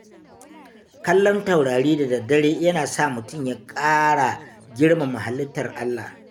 Kallon taurari da dare yana sa mutum ya ƙara girmama halittar Allah.